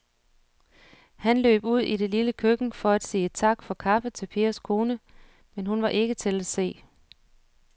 Han løb ud i det lille køkken for at sige tak for kaffe til Pers kone, men hun var ikke til at se.